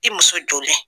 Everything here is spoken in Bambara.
I muso jɔlen